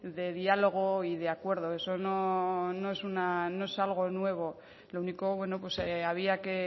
de diálogo y de acuerdo eso no es algo nuevo lo único había que